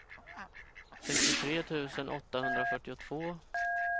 sextiotre tusen åttahundrafyrtiotvå